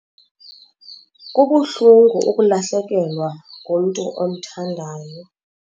Kubuhlungu ukulahlekelwa ngumntu omthandayo.